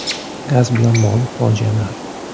Gaz bilan bog‘liq fojialar.